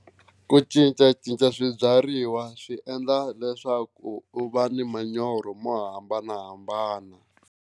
Ku cincacinca swibyariwa swi endla leswaku u va ni manyoro mo hambanahambana.